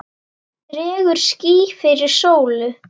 Dregur ský fyrir sólu!